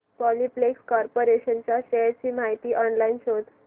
Polyplex corporation च्या shares ची माहिती ऑनलाइन शोध